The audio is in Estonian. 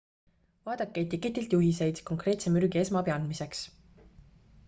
vaadake etiketilt juhiseid konkreetse mürgi esmaabi andmiseks